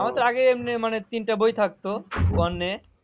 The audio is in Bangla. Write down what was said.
আমার তো আগেই এমনি মানে তিনটা বই থাকতো one এ